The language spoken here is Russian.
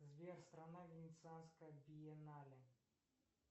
сбер страна венецианская биеннале